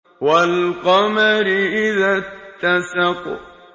وَالْقَمَرِ إِذَا اتَّسَقَ